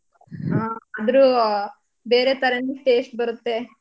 ಹಾ ಆದ್ರೂ ಬೇರೆ ತರಾನೆ taste ಬರತ್ತೆ.